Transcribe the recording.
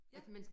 Ja